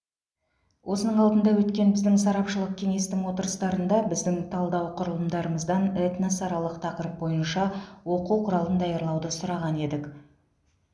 осының алдында өткен біздің сарапшылық кеңестің отырыстарында біздің талдау құрылымдарымыздан этносаралық тақырып бойынша оқу құралын даярлауды сұраған едік